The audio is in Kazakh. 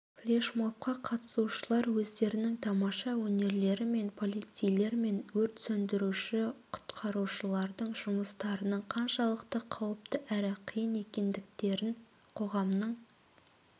флешмобқа қатысушылар өздерінің тамаша өнерлерімен полицейлер мен өрт сөндіруші-құтқарушылардың жұмыстарының қаншалықты қауіпті әрі қиын екендіктерін қоғамның